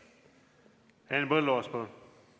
Henn Põlluaas, palun!